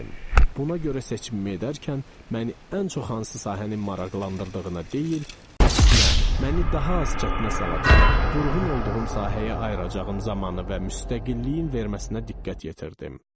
Buna görə seçimimi edərkən məni ən çox hansı sahənin maraqlandırdığını deyil, əksinə, məni daha az çətinə salacaq, vurğun olduğum sahəyə ayıracağım zamanı və müstəqilliyin verməsinə diqqət yetirdim.